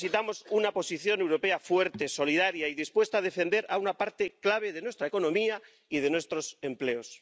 Necesitamos una posición europea fuerte, solidaria y dispuesta a defender a una parte clave de nuestra economía y de nuestros empleos.